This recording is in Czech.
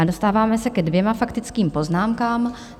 A dostáváme se ke dvěma faktickým poznámkám.